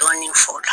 Dɔɔnin fo la